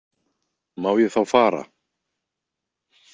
Má ég þá fara?